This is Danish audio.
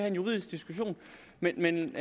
en juridisk diskussion men den